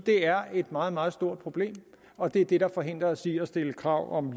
er et meget meget stort problem og det er det der forhindrer os i at stille krav om